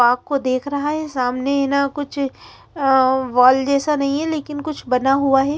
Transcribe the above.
आपको देख रहा है सामने हेना कुछ अ वाल जेसा नही ही लेकिन कुछ बना हुआ है ।